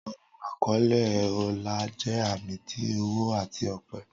Awọn akọle ọlá jẹ ami ti ọwọ ati ọpẹ.